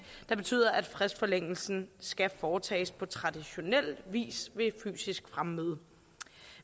der betyder at fristforlængelsen skal foretages på traditionel vis ved fysisk fremmøde